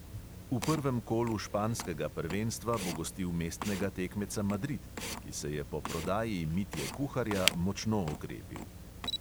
V prvem kolu španskega prvenstva bo gostil mestnega tekmeca madrid, ki se je po prodaji mitje kuharja močno okrepil.